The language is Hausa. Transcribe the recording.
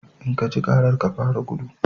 In ka ji karar, ka fara gudu!